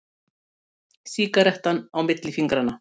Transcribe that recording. Sígarettan á milli fingranna.